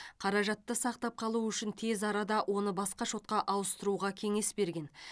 қаражатты сақтап қалу үшін тез арада оны басқа шотқа ауыстыруға кеңес берген